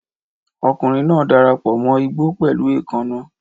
Ọkùnrin náà darapọ̀ mọ́ igbó pẹ̀lú èékánná.